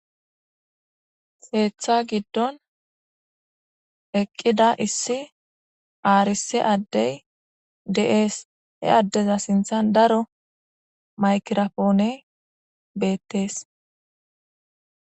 heeththa giddon eqqida issi aarise addey de7ees he addeza sinthan daro maykirapoone beettees